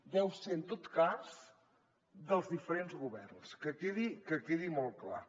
deu ser en tot cas dels diferents governs que quedi molt clar